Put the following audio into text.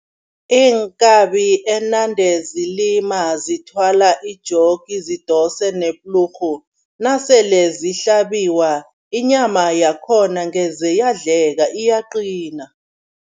Iinkabi enande zilima zithwala ijogi, zidosa neplurhu, nasele zihlabiwa, inyama yakhona ngeze yadleka, iyaqina.